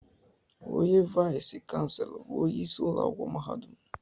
Onye vais chanselọ bụ onye isi ụlọakwụkwọ mahadum